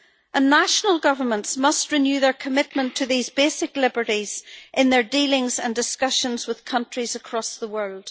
And national governments must renew their commitment to these basic liberties in their dealings and discussions with countries across the world.